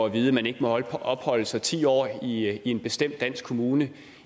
at vide at man ikke må opholde sig ti år i en bestemt dansk kommune